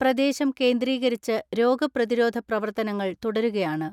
പ്രദേശം കേന്ദ്രീകരിച്ച് രോഗപ്രതിരോധ പ്രവർത്തനങ്ങൾ തുടരുകയാണ്.